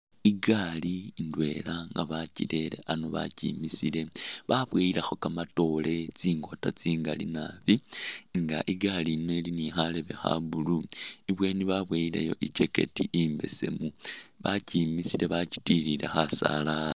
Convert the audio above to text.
Igaali indwela nga bakyirere ano bakyimisile baboyilekho kamatoore tsingota tsingali naabi nga igaali yiino ili ni kharembe kha'blue, ibweni baboyileyo i'jackect imbesemu bakyimisile bakyitilile khasaala